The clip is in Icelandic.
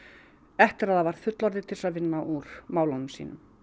eftir að það varð fullorðið til þess að vinna úr málunum sínum